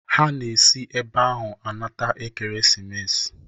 Ha na esi ebe ahụ anata ekeremesis.